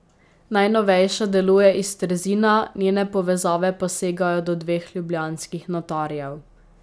Najnovejša deluje iz Trzina, njene povezave pa segajo do dveh ljubljanskih notarjev.